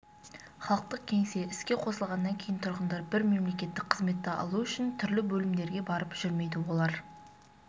халықтық кеңсе іске қосылғаннан кейін тұрғындар бір мемлекеттік қызметті алу үшін түрлі бөлімдерге барып жүрмейді олар